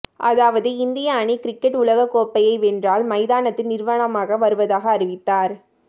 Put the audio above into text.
அதாவது இந்திய அணி கிரிக்கெட் உலகக் கோப்பையை வென்றால் மைதானத்தில் நிர்வாணமாக வருவதாக அறிவித்தார்